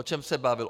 O čem se bavil?